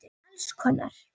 Alls konar.